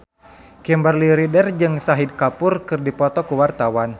Kimberly Ryder jeung Shahid Kapoor keur dipoto ku wartawan